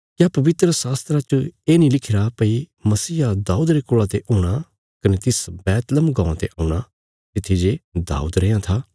क्या पवित्रशास्त्रा च ये नीं लिखिरा भई मसीहा दाऊद रे कुल़ा ते हूणा कने तिस बैतलहम गाँवां ते औणा तित्थी जे दाऊद रैयां था